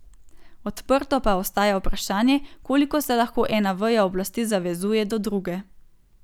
Odprto pa ostaja vprašanje, koliko se lahko ena veja oblasti zavezuje do druge.